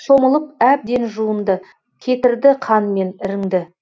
шомылып әбден жуынды кетірді қан мен іріңді